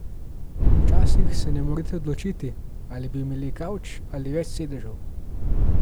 Včasih se ne morete odločiti, ali bi imeli kavč ali več sedežev.